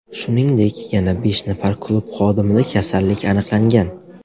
Shuningdek, yana besh nafar klub xodimida kasallik aniqlangan.